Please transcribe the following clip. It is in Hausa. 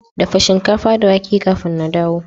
Dafa shinkafa da wake kafin na dawo